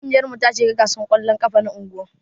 Kungiyar mu ta shiga gasan kwallon ƙafa na unguwan.